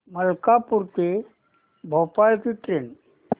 मलकापूर ते भोपाळ ची ट्रेन